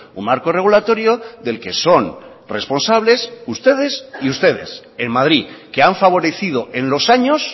un marco regulatorio del que son responsables ustedes y ustedes en madrid que han favorecido en los años